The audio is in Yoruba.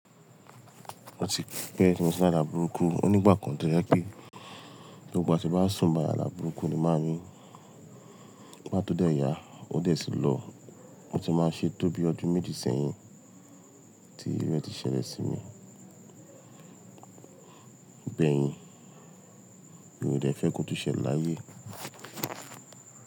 Mo ti pè tí mo ti la àlà burúkú, ó ní ìgbà kan tó yẹ pé, ní gbogbo ìgbà tí mo bá sùn báyii àla burúkú ni máa n ni. Igbá tó dẹ̀ yá, ó dẹ̀ sì lọ. O ti máa ṣe tó bí ọdún méjì sẹ́yìn tí iru ti ṣẹlẹ̀ sí mi. Bẹ́ẹ̀ ni, mi ò dẹ fẹ́ kó tún ṣẹ láyé.